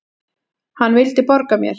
Hann vildi borga mér!